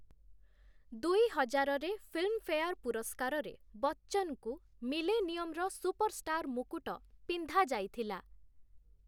ଦୁଇହଜାରରେ Filmfare ପୁରସ୍କାରରେ ବଚ୍ଚନଙ୍କୁ 'ମିଲେନିୟମ୍'ର ସୁପରଷ୍ଟାର୍ ମୁକୁଟ ପିନ୍ଧାଯାଇଥିଲା ।